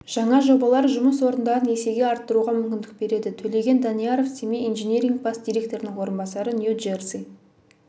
жаңа жобалар жұмыс орындарын есеге арттыруға мүмкіндік береді төлеген данияров семей инжиниринг бас директорының орынбасары нью-джерси